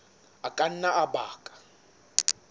a ka nna a baka